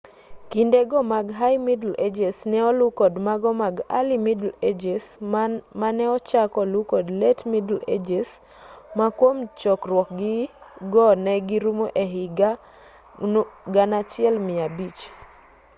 kinde go mag high middle ages ne olu kod mago mag early middle ages mane ochak olu kod late middle ages ma kwom chogruog-gi go ne girumo e hik 1500